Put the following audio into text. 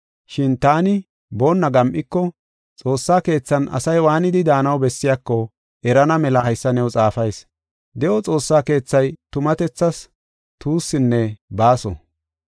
Shin taani boonna gam7iko, Xoossaa Keethan asay waanidi daanaw bessiyako erana mela haysa new xaafayis. De7o Xoossaa keethay tumatethaas tuussinne baaso.